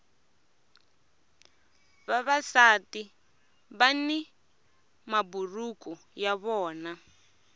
vavasati vani maburuku ya vona